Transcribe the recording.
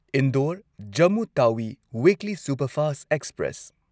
Indore Jammu Tawi weekly superfast express